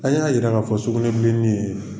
An y'a yira k'a fɔ sugunɛbilen ni ye